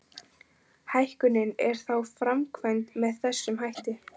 Hækkunin er þá framkvæmd með þessum hætti.